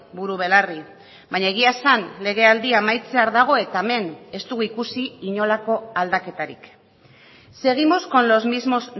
buru belarri baina egia esan legealdia amaitzear dago eta hemen ez dugu ikusi inolako aldaketarik seguimos con los mismos